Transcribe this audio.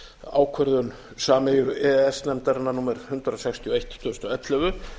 ákvörðun sameiginlegu e e s nefndarinnar númer hundrað sextíu og eitt tvö þúsund og ellefu